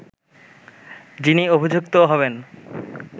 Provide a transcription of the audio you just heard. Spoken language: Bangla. যিনি অভিযুক্ত হবেন